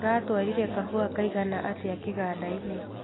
Mũratwarire kahũa kaigana atĩa kĩgandainĩ.